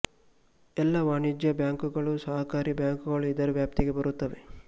ಎಲ್ಲ ವಾಣಿಜ್ಯ ಬ್ಯಾಂಕುಗಳು ಸಹಕಾರಿ ಬ್ಯಾಂಕುಗಳು ಇದರ ವ್ಯಾಪ್ತಿಗೆ ಬರುತ್ತವೆ